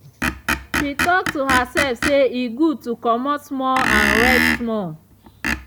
she talk to herself say e good to comot small and rest small.